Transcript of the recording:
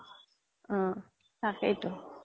অ তাকেই তো